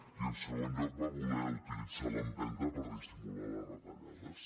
i en segon lloc va voler utilitzar l’empenta per dissimular les retallades